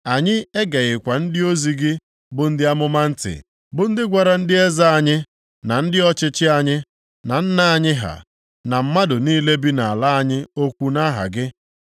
Anyị e geghịkwa ndị ozi gị bụ ndị amụma ntị, bụ ndị gwara ndị eze anyị, na ndị ọchịchị anyị, na nna anyị ha, ma mmadụ niile bi nʼala anyị okwu nʼaha gị.